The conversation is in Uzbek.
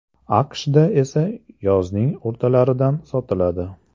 AQSHda esa yozning o‘rtalaridan sotiladi.